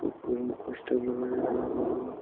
और कोई पोस्टर लगाया है बड़ा।